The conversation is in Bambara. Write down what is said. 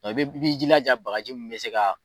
i bi jilaja bagaji ninnu bɛ se ka.